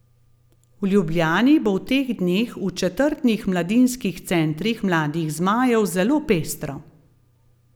V Ljubljani bo v teh dneh v četrtnih mladinskih centrih Mladih zmajev zelo pestro.